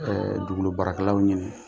dugukolo baarakɛlaw